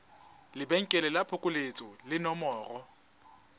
lebenkele la phokoletso le nomoro